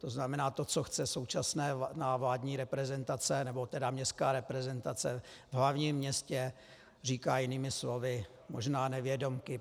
To znamená, to, co chce současná vládní reprezentace, nebo tedy městská reprezentace v hlavním městě, říká jinými slovy možná nevědomky